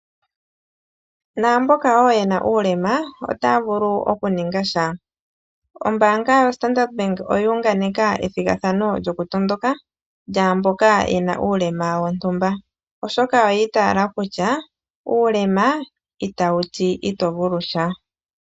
Naamboka wo yena uulema ota ya vulu wo okuninga sha, ombaanga yo Standard bank oya unganeka ethigathano lyokutondoka , lyaamboka yena uulema wontumba oshoka oya itaala kutya uulema ita wu ti itovulu sha.